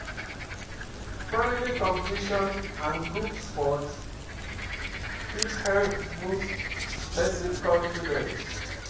Friendly competition and group sport fit help boost person confidence